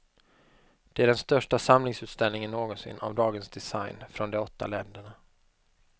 Det är den största samlingsutställningen någonsin av dagens design från de åtta länderna.